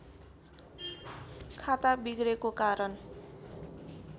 खाता बिग्रेको कारण